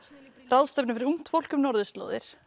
ráðstefnu fyrir ungt fólk um norðurslóðir